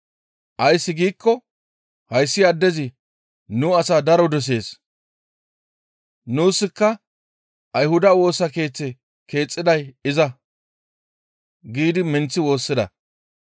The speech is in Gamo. Ays giikko hayssi addezi nu asaa daro dosees; nuuska Ayhuda Woosa Keeththe keexisiday iza» giidi minththi woossida.